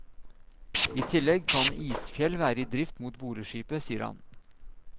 I tillegg kan isfjell være i drift mot boreskipet, sier han.